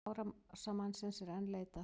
Árásarmannsins er enn leitað